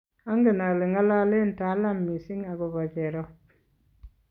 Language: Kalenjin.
angen ale ng'alalen Talamm mising akobo jerop